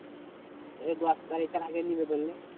এই দশ তারিখের আগে নেবে ধরে নে।